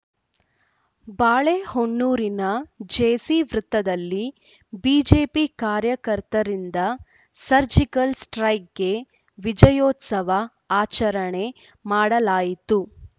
ಬಾಳೆಹೊನ್ನೂರಿನ J C ವೃತ್ತದಲ್ಲಿ BJP ಕಾರ್ಯಕರ್ತರಿಂದ surgical ಸ್ಟ್ರೈಕ್ಕ್‌ಗೆ ವಿಜಯೋತ್ಸವ ಆಚರಣೆ ಮಾಡಲಾಯಿತು